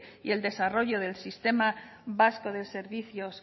y el desarrollo del sistema vasco de servicios